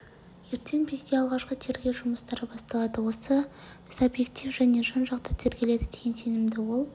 ертең бізде алғашқы тергеу жұмыстары басталады осы іс объектив және жан-жақты тергеледі деген сенімде ол